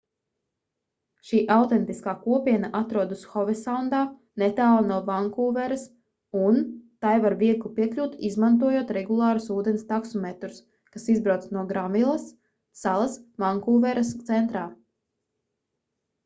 šī autentiskā kopiena atrodas hovesaundā netālu no vankūveras un tai var viegli piekļūt izmantojot regulārus ūdens taksometrus kas izbrauc no granvilas salas vankūveras centrā